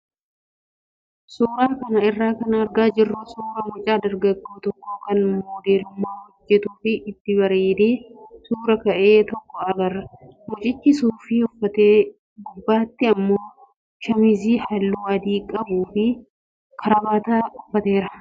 Suuraa kana irraa kan argaa jirru suuraa mucaa dargaggoo tokko kan moodelummaa hojjatuu fi itti bareedee suuraa ka'e tokko agarra. Mucichi suufii uffatee gubbaatti immoo shaamizii halluu adii qabuu fi karabaataa uffateera.